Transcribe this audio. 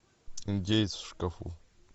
индеец в шкафу